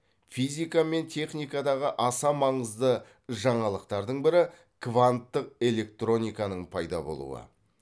физика мен техникадағы аса маңызды жаңалықтардың бірі кванттық электрониканың пайда болуы